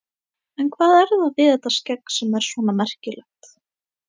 En hvað er það við þetta skegg sem er svona merkilegt?